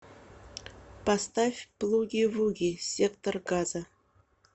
поставь плуги вуги сектор газа